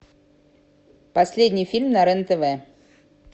последний фильм на рен тв